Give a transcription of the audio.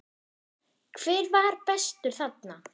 Hver var bestur þarna?